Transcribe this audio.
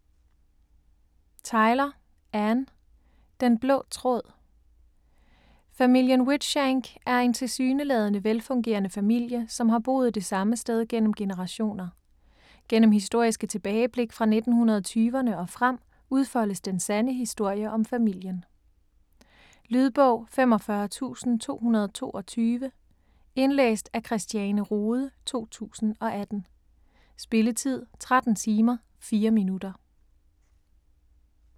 Tyler, Anne: Den blå tråd Familien Whitshank er en tilsyneladende velfungerende familie, som har boet det samme sted gennem generationer. Gennem historiske tilbageblik fra 1920'erne og frem udfoldes den sande historie om familien. Lydbog 45222 Indlæst af Christiane Rohde, 2018. Spilletid: 13 timer, 4 minutter.